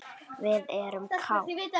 Við erum kát.